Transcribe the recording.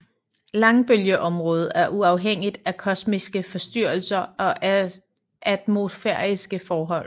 Langbølgeområdet er uafhængigt af kosmiske forstyrrelser og atmosfæriske forhold